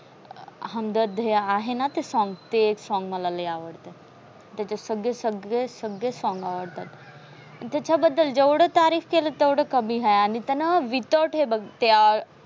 हमदर्द हा है ना ते song ते एक song मला लय आवडतात. त्याचे सग्गे सगळे सगळे आवडतात. आणि त्याच्याबद्दल जेवढ तारीख केली तेवढी कमी हाय. ती हे ना विथरडे बघ ते आ